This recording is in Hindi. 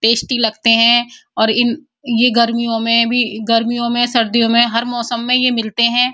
टेस्टी लगते हैं और ये गर्मियों में भी गर्मियों में सर्दियों में हर मौसम में मिलते हैं।